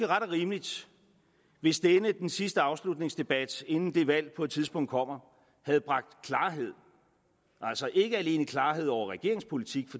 ret og rimeligt hvis denne den sidste afslutningsdebat inden det valg på et tidspunkt kommer havde bragt klarhed altså ikke alene klarhed over regeringens politik